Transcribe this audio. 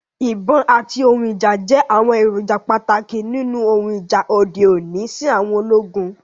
Ibon ati ohun ija jẹ awọn eroja pataki ninu ohun ija ode oni si àwọn ologun